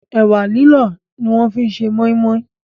Ẹ̀wà lílọ̀ ni wọ́n fi ṣe Mọ́í mọ́í